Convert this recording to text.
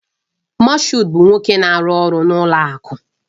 Mashood bụ nwoke na-arụ ọrụ n'ụlọ akụ